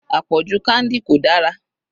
Àpọ̀jù candy kò dára.